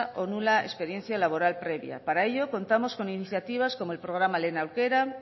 o nula experiencia laboral previa para ello contamos con iniciativas como el programa lehen aukera